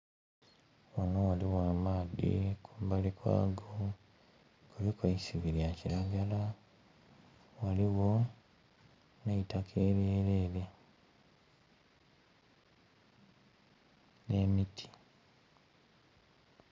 Ghano ghaligho amaadhi, kumbali kwago kuliku eisubi lya kiragala ghaligho ne itaka eryelere ne miti.